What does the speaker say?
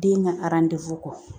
Den ka kɔ